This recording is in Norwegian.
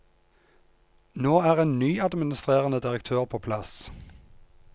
Nå er ny administrerende direktør på plass.